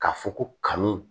K'a fɔ ko kanu